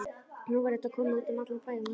Nú verður þetta komið út um allan bæ á morgun.